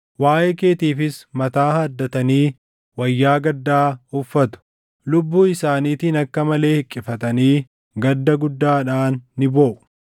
Waaʼee keetiifis mataa haaddatanii wayyaa gaddaa uffatu. Lubbuu isaaniitiin akka malee hiqqifatanii gadda guddaadhaan ni booʼu.